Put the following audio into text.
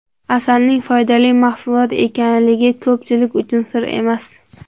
Asalning foydali mahsulot ekanligi ko‘pchilik uchun sir emas.